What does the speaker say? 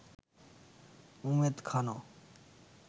Umed খানও